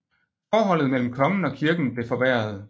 Forholdet mellem kongen og kirken blev forværret